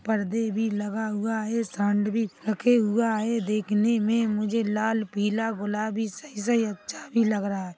परदे भी लगा हुआ है सांड भी रखे हुआ है देखने मे मुझे लाल -पीला- गुलाबी सही -सही अच्छा भी लग रहा है ।